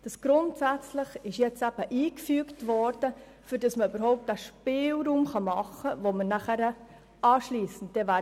Das Wort «grundsätzlich» ist eben eingefügt worden, damit man überhaupt den Spielraum ermöglichen kann, über welchen wir anschliessend noch sprechen werden.